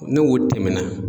N'o o tɛmɛnɛ